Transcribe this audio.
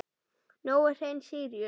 Nói Hreinn Síríus.